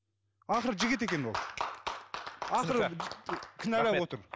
ақыры жігіт екен ол ақыры кінәлап отыр